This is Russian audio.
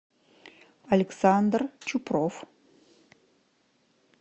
александр чупров